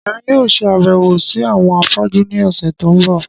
Èmi yóò ṣe àbẹ̀wò si àwọn afọ́jú ni ọ̀sẹ̀ to n bọ.